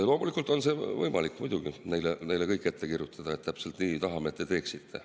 Loomulikult on võimalik neile kõik ette kirjutada, et täpselt nii tahame, et te teeksite.